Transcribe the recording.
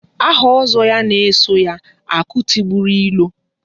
Aha Ozo ya na-eso ya - "Akụ tigburu ilo"